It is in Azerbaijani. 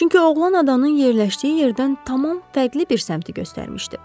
Çünki oğlan adanın yerləşdiyi yerdən tamam fərqli bir səmtə göstərmişdi.